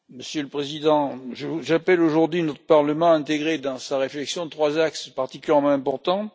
Monsieur le Président, j'appelle aujourd'hui notre Parlement à intégrer dans sa réflexion trois axes particulièrement importants.